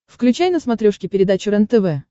включай на смотрешке передачу рентв